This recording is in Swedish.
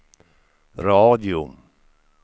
radio